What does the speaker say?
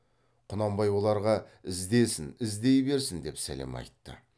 құнанбай оларға іздесін іздей берсін деп сәлем айтты